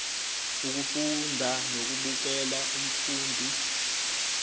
ukufunda nokubukela umfundi